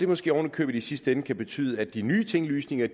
måske oven i købet i sidste ende betyde at de nye tinglysninger